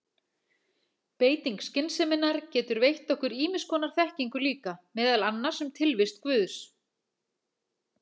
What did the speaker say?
Beiting skynseminnar getur veitt okkur ýmiss konar þekkingu líka, meðal annars um tilvist guðs.